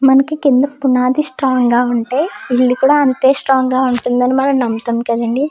మనకి కింద పునాది స్ట్రాంగ్ గా ఉంటే బిల్డింగ్ కూడా అంతే స్ట్రాంగ్ గా ఉంటుందని మనం నమ్ముతాం కదండీ.